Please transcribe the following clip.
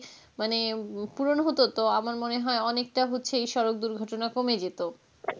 মানে পুরণ হত তো আমার মনে হয় অনেকটা হচ্ছে এই সড়ক দুর্ঘটনা কমে যেত.